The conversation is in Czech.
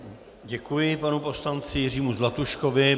Děkuji panu poslanci Jiřímu Zlatuškovi.